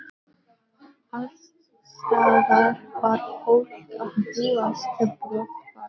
Alls staðar var fólk að búast til brottfarar.